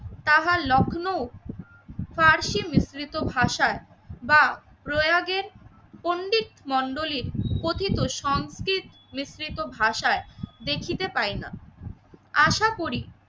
তাহা লখনউ ফার্সি মিশ্রিত ভাষায় বা প্রয়োগের পণ্ডিত মন্ডলীর কথিত সংকেত মিশ্রিত ভাষায় দেখিতে পাই না। আসাকরি